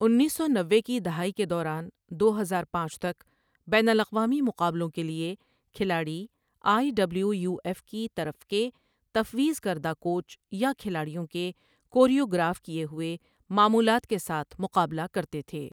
انیس سو نوے کی دہائی کے دوران، دو ہزار پانچ تک بین الاقوامی مقابلوں کے لیے کھلاڑی آئی ڈبلیو یو ایف کی طرف کے تفویض کردہ کوچ یا کھلاڑیوں کے کوریوگراف کیے ہوئے معمولات کے ساتھ مقابلہ کرتے تھے۔